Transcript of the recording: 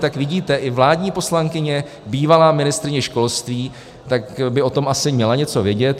Tak vidíte, i vládní poslankyně, bývalá ministryně školství, tak by o tom asi měla něco vědět.